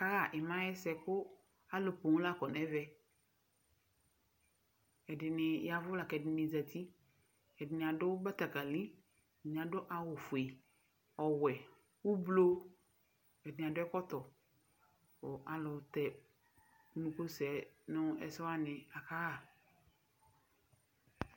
Akaɣa ima ayʋ ɛsɛ, kʋ alu poo la akɔ nʋ ɛvɛ Ɛdɩnɩ yavʋ lakʋ ɛdɩnɩ zǝti Ɛdɩnɩ adu batakali, ɛdɩnɩ adu awufue, ɔwɛ, ʋblʋ Ɛdɩnɩ adu ɛkɔtɔ, kʋ alutɛunukusɛ nʋ ɛsɛ wani akaɣa